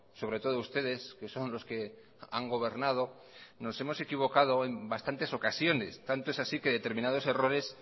sobre todo ustedes que son los que han gobernado nos hemos equivocado en bastantes ocasiones tanto es así que en determinados errores